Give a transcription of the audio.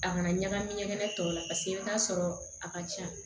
A kana ɲagami ɲɛgɛnɛ tɔw la i bɛ t'a sɔrɔ a ka ca